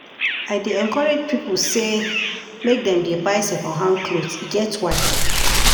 I dey encourage pipo sey make dem dey buy second hand clothes, e get why.